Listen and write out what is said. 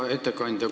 Hea ettekandja!